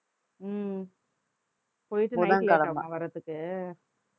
உம் போய்ட்டு night உ late ஆகுமா வர்றதுக்கு